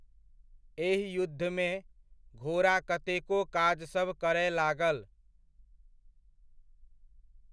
एहि युद्धमे, घोड़ा कतेको काजसब करय लागल।